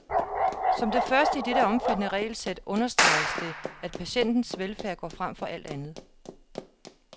Som det første i dette omfattende regelsæt understreges det, at patientens velfærd går frem for alt andet.